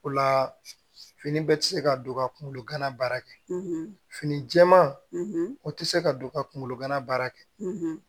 O la fini bɛɛ tɛ se ka don ka kunkolo gana baara kɛ fini jɛɛman o tɛ se ka don ka kunkolo gana baara kɛ